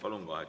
Palun!